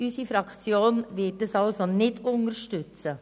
Die SP-JUSO-PSA-Fraktion wird die Anträge Boss nicht unterstützen.